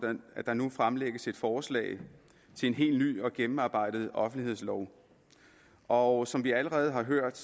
at der nu fremlægges et forslag til en helt ny og gennemarbejdet offentlighedslov og som vi allerede har hørt